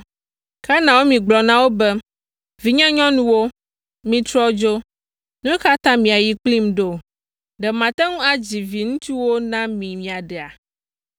Ke Naomi gblɔ na wo be, “Vinyenyɔnuwo, mitrɔ dzo. Nu ka ta miayi kplim ɖo? Ɖe mate ŋu adzi viŋutsuwo na mi miaɖea?